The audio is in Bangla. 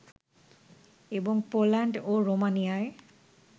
এবং পোল্যান্ড ও রোমানিয়ায়